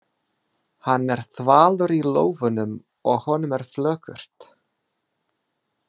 Hann er þvalur í lófunum og honum er flökurt.